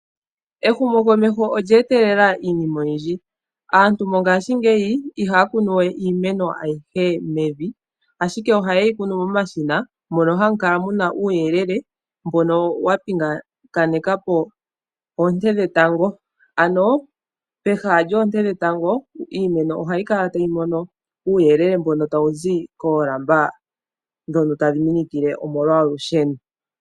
Ehumokomeho olya etelela iinima oyindji. Aantu mo ngaashingeyi iha ya kunu we iimeno ayihe mevi ashike oha yi kunu momashina mono ha mu kala muna uuyelele mbono wa mpingena po oonte dhe tango. Ano pehala lyoonte dhetango iimeno ohayi kala tayi mono uuyelele mbono ta wuzi koolamba dhono tadhi minikile omolwa olusheno.